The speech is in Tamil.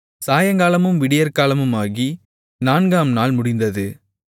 சாயங்காலமும் விடியற்காலமுமாகி நான்காம் நாள் முடிந்தது